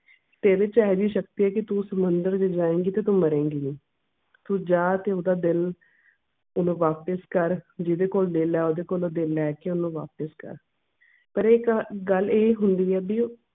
ਤੇਰੇ ਚ ਇਹੋ ਜੀ ਸ਼ਕਤੀ ਐ ਤੂੰ ਸਮੁੰਦਰ ਚ ਜਾਏਗੀ ਤਾਂ ਤੇ ਤੂੰ ਮਰੇਗੀ ਨਹੀਂ ਤੂੰ ਜਾ ਤੇ ਓਹਦਾ ਦਿਲ ਓਹਨੂੰ ਵਾਪਸ ਕਰ ਜਿਹਦੇ ਕੋਲ ਦਿਲ ਐ ਓਹਦੇ ਕੋਲੋਂ ਦਿਲ ਲੈਕੇ ਓਹਨੂੰ ਵਾਪਸ ਕਰ ਪਰ ਇਹ ਇੱਕ ਗੱਲ ਇਹ ਹੁੰਦੀ ਐ ਬੀ ਉਹ